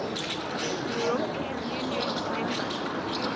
european union member